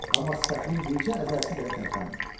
Amma sifətinin bircə əzələsi belə tərpənmədi.